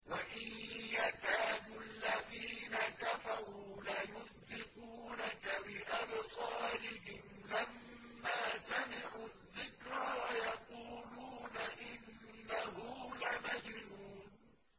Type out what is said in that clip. وَإِن يَكَادُ الَّذِينَ كَفَرُوا لَيُزْلِقُونَكَ بِأَبْصَارِهِمْ لَمَّا سَمِعُوا الذِّكْرَ وَيَقُولُونَ إِنَّهُ لَمَجْنُونٌ